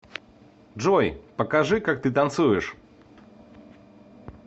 джой покажи как ты танцуешь